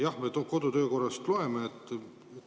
Jah, me kodu‑ ja töökorrast loeme.